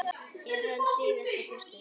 Er hann síðasta púslið?